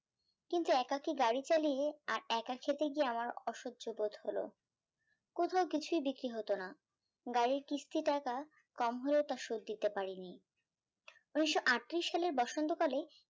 কিন্তু একাকী গাড়ি চালিয়ে আর বাক্য খেতে গিয়ে আমার অসয্য বোধ হলো কোথাও কিছুই বিক্রি হতো না গাড়ির কিস্তি টাকা কম হলেও তার শোদ দিতে পারিনি উনিশশো আটতিরিশ সালের বসন্ত কালে